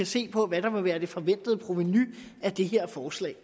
ser på hvad der vil være det forventede provenu af det her forslag